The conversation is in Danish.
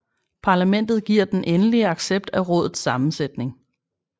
Parlamentet giver den endelige accept af rådets sammensætning